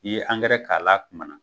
I ye k'a la a kuma na